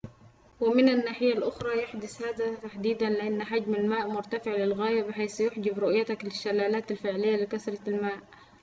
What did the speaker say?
ومن الناحية الأخرى يحدث هذا تحديدًا لأن حجم الماء مرتفع للغاية بحيث يحجب رؤيتك للشلالات الفعلية لكثرة المياه